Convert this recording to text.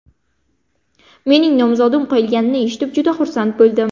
Mening nomzodim qo‘yilganini eshitib juda xursand bo‘ldim.